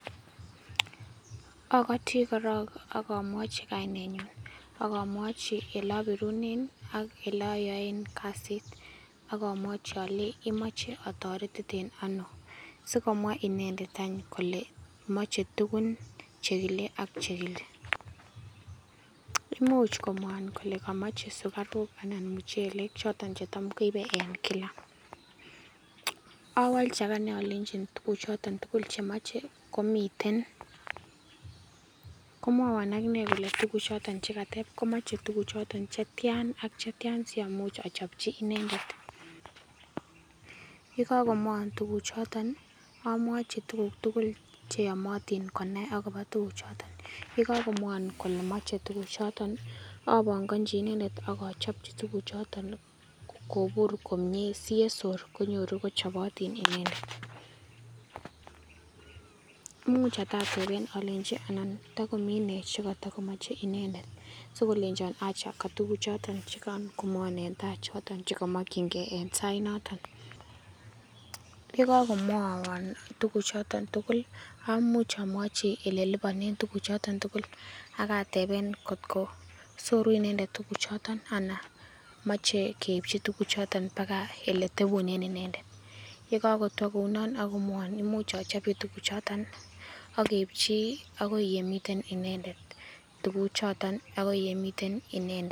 Okoti koron ak omwochi kainenyun ak omwochi ilobirunen ak iloyoen kasit. Ak omwochi olenji imoche otoretiten ono, sikomwa inendet kole moche tuguk chekile ak chekile . Imuch komwowon kole komoche sukaruk ala muchelek choton chetam koibe kila. Owolji agane olenji tuguchoton chemoche komiten. Komwowon agine kole tuguchoton che kateb komoche tuguchoton chetian ak chetian siamuch ochopchi inendet. Ye kokomwowon tuguchoton ii omwochi tuguk tugul cheyomotin konai agobo tuguchoton. Yekokomwowon kole moche tuguchoton ii, opongonji inendet ii ak ochopchi tuguchoton kobur komie siyesor konyoru kochopotin inendet. Imuch atatepen olenji ala togomi nee chekotokomoche inendet sikolenjon acha katugukchoton chekaran komwowon en tai choton chekomokyingei en sainoton. Yekokowmowon ole tuguchoton tugul amuch omwochi ileliponen tuguchoton tugul ak atepen kotko soru inendet tuguchoton ana moche keipchi paka oletepunen inendet. Yekokotwo kounon ii ak komwowon imuch ochopchi tuguchoton ak keipchi agoi yemiten inendet tuguchoton agoi yemiten inendet.